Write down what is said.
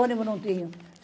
Ônibus não tinha.